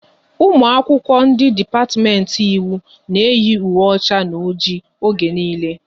Ụmụ akwụkwọ ndị dipatiment Ịwụ na eyi ùwé ọcha na ọjị oge niile